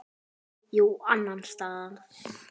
Já, annan stað.